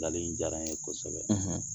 nkali in diyara n ye kosɛbɛ